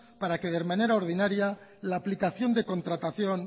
para que de manera ordinaria la aplicación de contratación